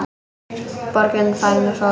Borgin farin að sofa.